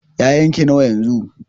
ya'yan ki nawa yanzu?